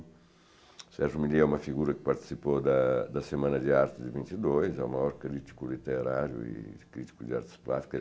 O Sérgio milliet é uma figura que participou da da Semana de Arte de vinte e dois, é o maior crítico literário e crítico de artes plásticas.